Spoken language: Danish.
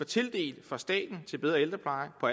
tildelt fra staten til bedre ældrepleje på